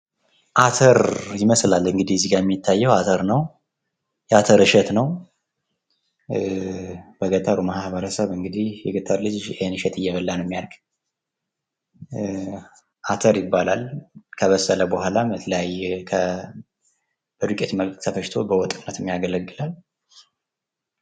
አተር የመስላል እንግዲህ የሚታየው። የአተር እሸት ነው ።በገጠር ማህበረሰብ የገጠር ልጅ ኢሄን እየበላ ነው ሚያድግው። አተር ይባላል። ከበሰለ በኋላ ተፈጭቶ በዱቄት መልክ ለወጥነት ያገለግላል።